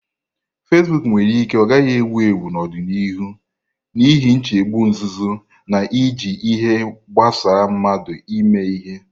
Fasiboku nwere ike ọ gaghị ewu ewu n'ọdịnihu n'ihi nchegbu nzuzo na iji ihe gbasa mmadu eme ihe.